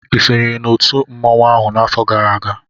I sonyere na otu mmanwụ ahụ n'afọ gara aga?